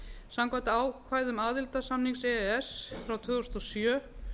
samkvæmt ákvæðum aðildarsamnings e e s frá tvö þúsund og sjö